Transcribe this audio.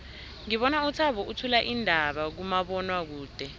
ngibona uthabo uthula iindaba kumabonwakude